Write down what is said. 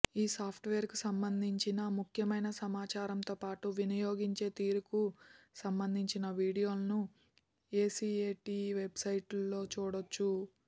ఈ సాఫ్ట్వేర్ కు సంబంధించిన ముఖ్యమైన సమాచారంతో పాటు వినియోగించే తీరుకు సంబధించిన వీడియోలను ఏసీఏటీ వెబ్సైట్లో చూడొచ్చు